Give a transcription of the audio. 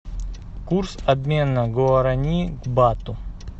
курс обмена гуарани к бату